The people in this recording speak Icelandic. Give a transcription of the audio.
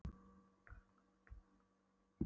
Síðan inn á karlaklósett en bakkaði út aftur.